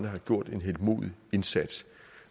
har gjort en heltemodig indsats